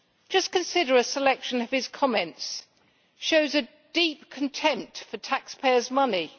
Just consider a selection of his comments it shows a deep contempt for taxpayers' money'